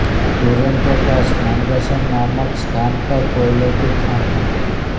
Touraine के पास नंगसन नामक स्थान पर कोयले की खान है